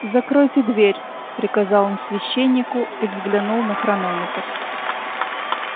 закройте дверь приказал он священнику и взглянул на хронометр